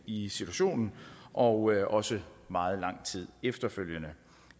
i situationen og også meget lang tid efterfølgende